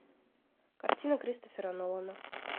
картина кристофера нолана